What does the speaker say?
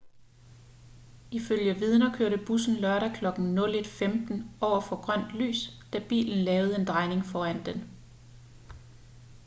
ifølge vidner kørte bussen lørdag klokken 01:15 over for grønt lys da bilen lavede en drejning foran den